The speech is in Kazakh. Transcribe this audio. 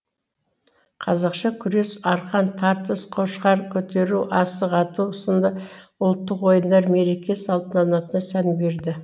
қазақша күрес арқан тартыс қошқар көтеру асық ату сынды ұлттық ойындар мереке салтанатына сән берді